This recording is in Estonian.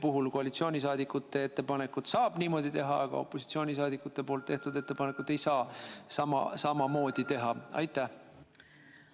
Miks koalitsiooniliikmete ettepanekuga saab niimoodi teha, aga opositsiooniliikmete ettepanekuga samamoodi teha ei saa?